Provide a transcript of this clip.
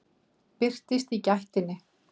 Birtist í gættinni.